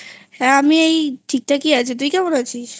হ্যাঁ আমি এই ঠিকঠাক ই আছি তুই কেমন আছিস?